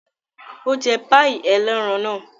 Ó jẹ páíì ẹlẹ́ran náà?